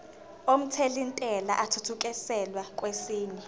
omthelintela athuthukiselwa kwesinye